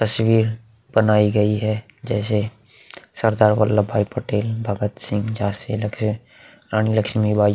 तस्वीर बनाई गयी है जैसे सरदार वल्लभ भाई पटेल भगत सिंह झांसी लक्ष्मी रानी लक्ष्मी बाई --